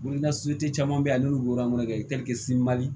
Boli na sotigi caman bɛ yen n'olu